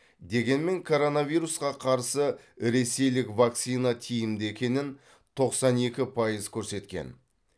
дегенмен коронавирусқа қарсы ресейлік вакцина тиімді екенін тоқсан екі пайыз көрсеткен